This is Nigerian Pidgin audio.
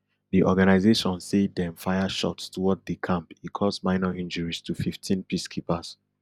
di organisation say dem fire shots toward di camp e cause minor injuries to fifteen peacekeepers